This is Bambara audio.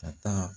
Ka taa